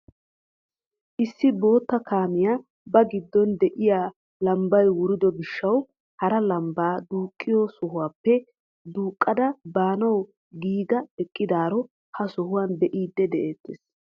issi bootta kaamiyaa ba giddon de'iyaa lambbay wurido giishshawu hara lambbaa duqqiyoo sohuwaappe duuqqada baanawu giiga eqqidaaro ha sohuwaan bee'idi de'ettees.